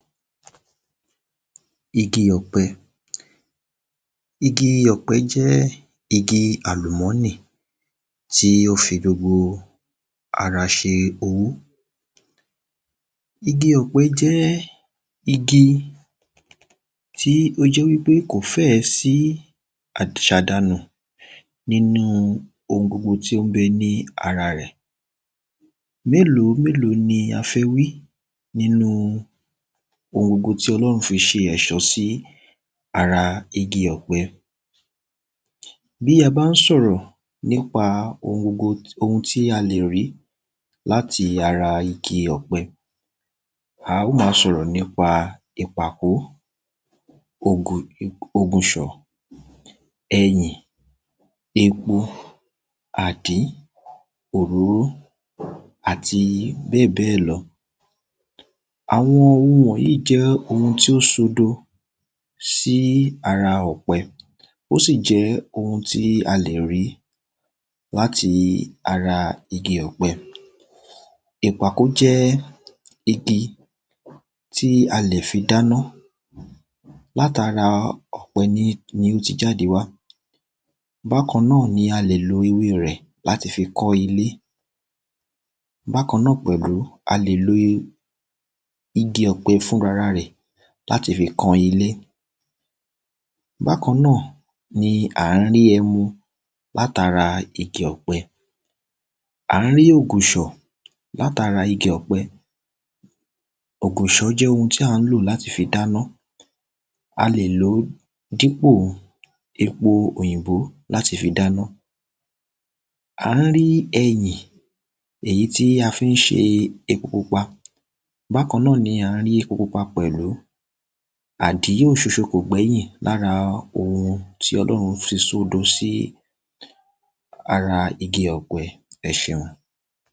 igi ọ̀pẹ igi ọ̀pẹ jẹ́ igi àlùmọ́nì tí ó fi gbogbo ara ṣe owó owó igi ọ̀pẹ jẹ́ igi tó jẹ́ wípé kò fẹ́ẹ̀ sí àṣàdànù nínú ohun tó ń bẹ ní ara rẹ̀ mélòómélòó ni a fẹ́ wí nínú ohun gbogbo tí ọlọ́run fi ṣe èṣó sí ara igi ọ̀pẹ bí a bá sọ̀rọ̀ nípa ohun gbogbo ohun tí a lè rí láti ara igi ọ̀pẹ a ó ma sọ̀rọ̀ nípa ìpàkó, ògùnṣọ̀, ẹyìn, epo, àdín, òróró àti bẹ́ẹ̀bẹ́ẹ̀ lọ àwọn ohun wọ̀nyí jẹ́ ohun tó sodo sí ara ọ̀pẹ ó sì jẹ́ ohun tí a lè rí láti ara igi ọ̀pẹ ìpàkó jẹ́ igi tí a lè fi dáná látara ọ̀pẹ ni ó ti jáde wá bákan náà a lè lo ewée rẹ̀ láti fi kọ́lé bákan náà pẹ̀lú a lè lo igi ọ̀pẹ fún rara rẹ̀ láti fi kan ilé bákan náà ni à ń rí ẹmu látara igi ọ̀pẹ à ń rí ògùṣọ̀ látara igi ọ̀pẹ ògùṣọ̀ jẹ́ ohun tí à ń lò láti fi dáná a lè lòó dípò epo òyìnbó láti fi dáná à ń rí ẹyìn èyí tí a fi ń ṣe epo pupa bákan náà ni à ń rí epo pupa pẹ̀lú àdín òsoso kò gbẹ́yìn lára ohun tí ọlọ́run ṣe sódo sí ara igi ọ̀pẹ ẹ ṣeun